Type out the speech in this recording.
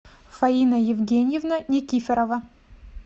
фаина евгеньевна никифорова